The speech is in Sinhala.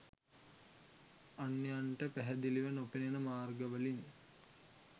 අන්‍යයන්ට පැහැදිලිව නොපෙනෙන මාර්ගවලින්